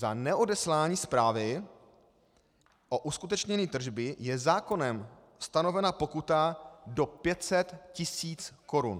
Za neodeslání zprávy o uskutečnění tržby je zákonem stanovena pokuta do 500 tis. korun.